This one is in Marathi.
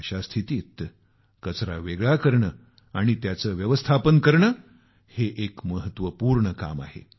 अशा स्थितीत कचऱ्याचे विलगीकरण आणि त्यांचे व्यवस्थापन करणे एक महत्वपूर्ण काम आहे